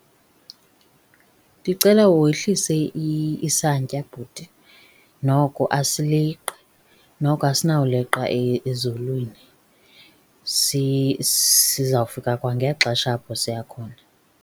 Ndicela wehlise isantya bhuti noko asileqi, noko asinawuleqa ezulwini, sizawufika kwangexesha apho siya khona.